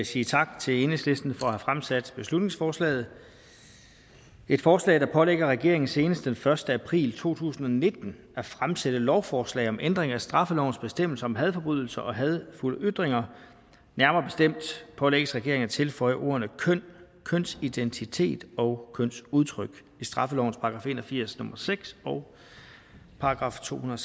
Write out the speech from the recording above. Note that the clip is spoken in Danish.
sige tak til enhedslisten for at have fremsat beslutningsforslaget et forslag der pålægger regeringen senest den første april to tusind og nitten at fremsætte lovforslag om ændring af straffelovens bestemmelser om hadforbrydelser og hadefulde ytringer nærmere bestemt pålægges regeringen at tilføje ordene køn kønsidentitet og kønsudtryk i straffelovens § en og firs nummer seks og § to hundrede